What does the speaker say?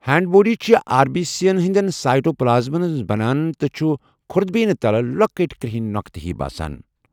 Hand بوٗڑی چُھِ R B C یَن ہِنٛدٮ۪ن سائٹوپلازمَن منٛز بنان تہٕ چھِ خُردبیٖنہِ تَل لۄکٕٹۍ کرٛہِنۍ نۄقطہٕ ہی باسان۔